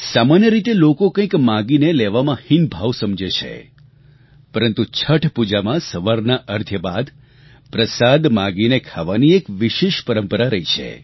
સામાન્ય રીતે લોકો કંઈક માંગીને લેવામાં હીન ભાવ સમજે છે પરંતુ છઠ પૂજામાં સવારના અર્ધ્ય બાદ પ્રસાદ માંગીને ખાવાની એક વિશેષ પરંપરા રહી છે